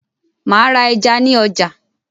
Màá ra ẹja ní ọjà